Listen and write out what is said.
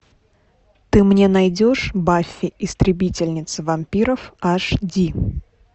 ты мне найдешь баффи истребительница вампиров аш ди